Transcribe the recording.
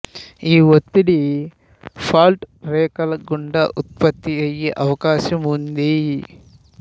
ఈ ఒత్తిడి ఫాల్ట్ రేఖల గుండా ఉత్పత్తి అయే అవకాశం ఉంది